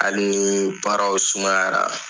Hali ni baaraw sumayara.